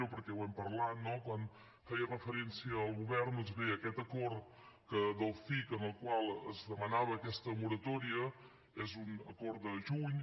perquè ho hem parlat no quan feia referència al govern doncs bé aquest acord del cic en el qual es demanava aquesta moratòria és un acord del juny